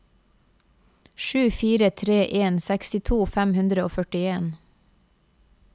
sju fire tre en sekstito fem hundre og førtien